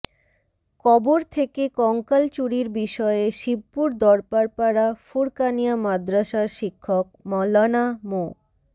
কবর থেকে কঙ্কাল চুরির বিষয়ে শিবপুর দরবারপাড়া ফুরকানিয়া মাদ্রাসার শিক্ষক মাওলানা মো